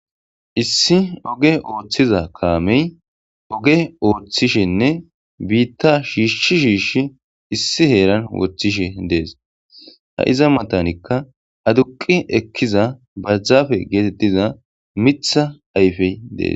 Issi oge ooththiza kaamey oge ooththishenne biitta shiishshi shiishi issi heeran woththishe dees ha iza matanikka aduqi ekkiza badjafe geetettiza mitha ayfey dees